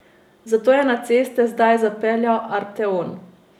Zato je na ceste zdaj zapeljal arteon.